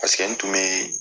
Paseke n tun bɛ